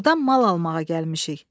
Burdan mal almağa gəlmişik.